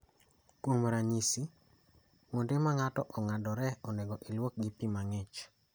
Kuom ranyisi, kuonde ma ng�ato ong'adore onego iluoki gi pi ma ng�ich.